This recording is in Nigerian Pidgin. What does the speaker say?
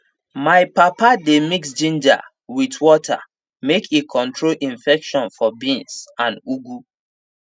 my papa dey mix ginger with water make e control infection for beans and ugu